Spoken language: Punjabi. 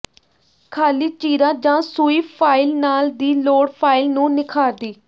ਖ਼ਾਲੀ ਚੀਰਾ ਜ ਸੂਈ ਫਾਇਲ ਨਾਲ ਦੀ ਲੋੜ ਫਾਇਲ ਨੂੰ ਨਿਖਾਰਦੀ